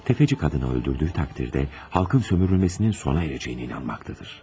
Tefeci kadını öldürdüğü takdirde, halkın sömürülmesinin sona ereceğine inanmaktadır.